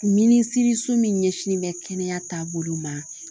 Minisiriso min ɲɛsinnen bɛ kɛnɛya taabolo ma